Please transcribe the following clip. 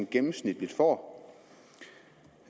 gennemsnitligt får